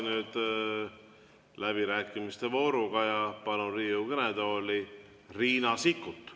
Läheme läbirääkimiste vooruga edasi ja palun Riigikogu kõnetooli Riina Sikkuti.